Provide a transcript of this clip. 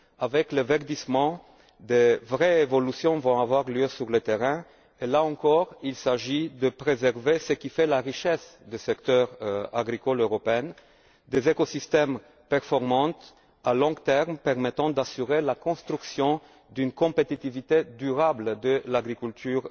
Avec le verdissement, de vraies évolutions vont avoir lieu sur le terrain là encore, il s'agit de préserver ce qui fait la richesse du secteur agricole européen des écosystèmes performants, à long terme, permettant d'assurer la construction d'une compétitivité durable de l'agriculture